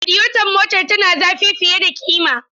Radiyeton motar tana zafi fiye da kima.